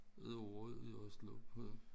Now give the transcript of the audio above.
Et år i Oslo på